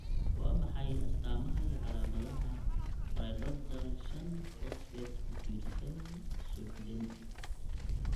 Waa maxay astamaha iyo calaamadaha Pyridoxal shan' fosfate ku tiirsan suuxdin?